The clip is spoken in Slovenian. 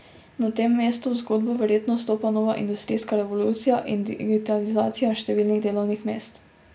Na tem mestu v zgodbo verjetno vstopa nova industrijska revolucija in digitalizacija številnih delovnih mest.